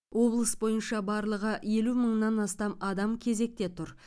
облыс бойынша барлығы елу мыңнан астам адам кезекте тұр